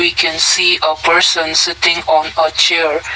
we can see a person sitting on a chair.